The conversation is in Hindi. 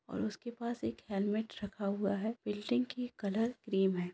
और उसके ऊपर पास एक हेलमेट रखा हुआ हैबिल्डिंग के कलर क्रीम है।